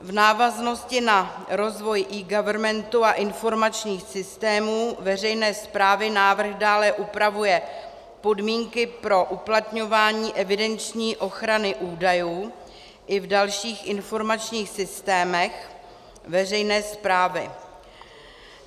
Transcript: V návaznosti na rozvoj eGovernmentu a informačních systémů veřejné správy návrh dále upravuje podmínky pro uplatňování evidenční ochrany údajů i v dalších informačních systémech veřejné správy.